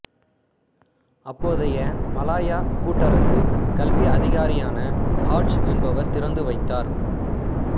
அப்போதைய மலாயா கூட்டரசு கல்வி அதிகாரியான ஹாட்ஜ் என்பவர் திறந்து வைத்தார்